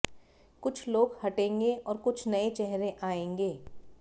कुछ लोग हटेंगे और कुछ नए चेहरे आएंगे